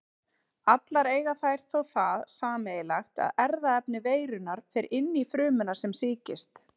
Allar eiga þær þó það sameiginlegt að erfðaefni veirunnar fer inn frumuna sem sýkist.